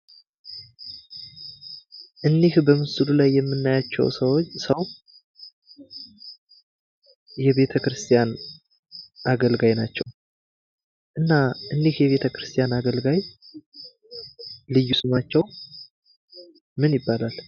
እኒህ በምስሉ ላይ የምናያቸው ሰዉ የቤተክርስቲያን አገልጋይ ናቸው ::እና እኒህ የቤተክርስቲያን አገልጋይ ልዩ ስማቸው ማን ይባላል?